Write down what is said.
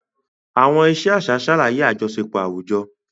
Àwọn ìṣe àṣà ṣàlàyé àjọṣepọ̀ àwùjọ.